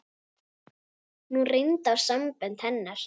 Nú reyndi á sambönd hennar.